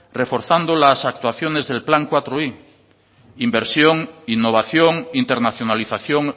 reforzando las actuaciones del plan laui inversión innovación internacionalización